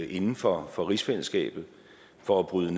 inden for for rigsfællesskabet for at bryde